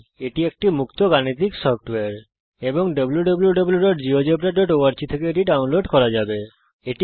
এটি একটি মুক্ত গাণিতিক সফ্টওয়্যার এবং wwwgeogebraorg থেকে এটি ডাউনলোড করা যাবে